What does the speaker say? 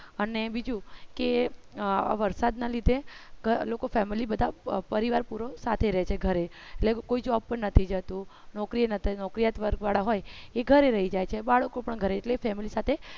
અને બીજું કે વરસાદના લીધે લોકો family બધા પરિવાર પૂરો સાથે રહેશે ઘરે એટલે કોઈ job પણ નથી જતું. નોકરી નોકરિયાતવાળા હોય એ ઘરે રહી જાય છે બાળકો પણ ઘરે એટલે family સાથે